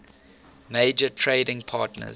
major trading partners